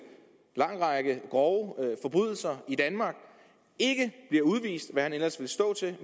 lang række grove forbrydelser i danmark ikke bliver udvist hvilket han ellers ville stå til